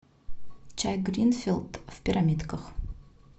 чай гринфилд в пирамидках